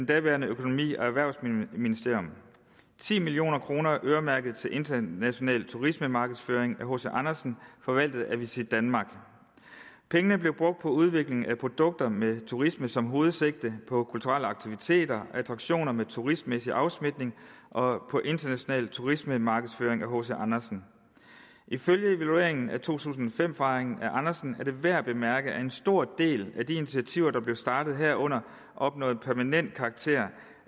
daværende økonomi og erhvervsministerium ti million kroner øremærket til international turismemarkedsføring af hc andersen forvaltet af visitdenmark pengene blev brugt på udvikling af produkter med turisme som hovedsigte på kulturelle aktiviteter attraktioner med turistmæssig afsmitning og på international turismemarkedsføring af hc andersen ifølge evalueringen af to tusind og fem fejringen af andersen er det værd at bemærke at en stor del af de initiativer der blev startet herunder opnåede permanent karakter